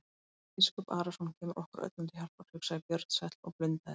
Jón biskup Arason kemur okkur öllum til hjálpar, hugsaði Björn sæll og blundaði.